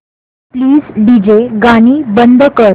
please DJ गाणी बंद कर